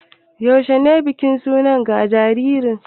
Yaushe ne bikin suna ga jariri?